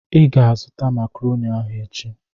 I ga-azụta makrọni ahụ echi.